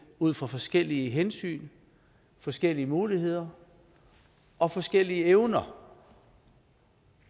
ud fra forskellige hensyn forskellige muligheder og forskellige evner